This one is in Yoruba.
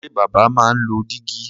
Ṣé bàbá máa ń lo dígí?